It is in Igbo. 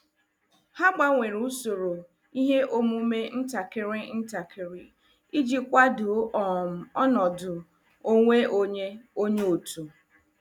Ha gbanwere usoro ihe omume ntakịrị ntakịrị iji kwado um ọnọdụ onwe onye onye otu.